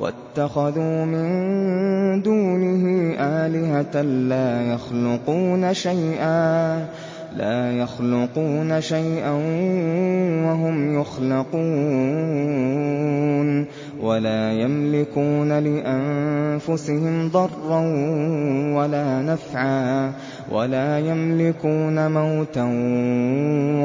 وَاتَّخَذُوا مِن دُونِهِ آلِهَةً لَّا يَخْلُقُونَ شَيْئًا وَهُمْ يُخْلَقُونَ وَلَا يَمْلِكُونَ لِأَنفُسِهِمْ ضَرًّا وَلَا نَفْعًا وَلَا يَمْلِكُونَ مَوْتًا